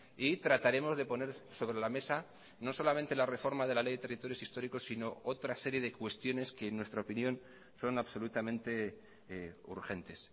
y trataremos de poner sobre la mesa no solamente la reforma de la ley de territorios históricos sino otra serie de cuestiones que en nuestra opinión son absolutamente urgentes